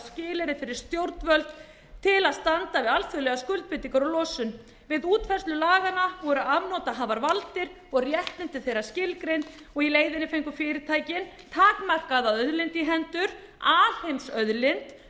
skilyrði fyrir stjórnvöld til að standa við alþjóðlegar skuldbindingar um losun við útfærslu laganna voru afnotahafar valdir og réttmæti þeirra skilgreint og í leiðinni fengu fyrirtækin takmarkaða auðlind í hendur alheimsauðlind um